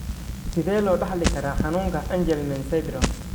Sidee loo dhaxli karaa xanuunka Angelman syndrome?